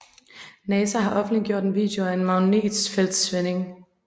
Nasa har offentliggjort en video af en magnetfeltsvending